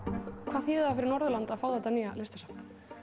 hvað þýðir það fyrir Norðurland að fá þetta nýja listasafn